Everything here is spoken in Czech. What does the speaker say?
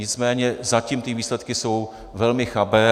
Nicméně zatím ty výsledky jsou velmi chabé.